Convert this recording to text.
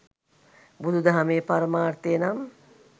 බුදු දහමේ පරමාර්ථය නම්